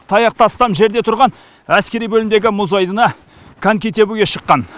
таяқ тастам жерде тұрған әскери бөлімдегі мұз айдынына коньки тебуге шыққан